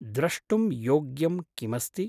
द्रष्टुं योग्यं किमस्ति?